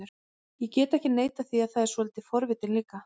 Já, ég get ekki neitað því að ég er svolítið forvitinn líka